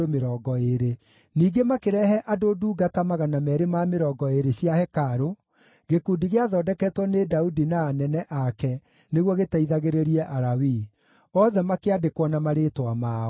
Ningĩ makĩrehe andũ ndungata 220 cia hekarũ, gĩkundi gĩathondeketwo nĩ Daudi na anene ake nĩguo gĩteithagĩrĩrie Alawii. Othe makĩandĩkwo na marĩĩtwa mao.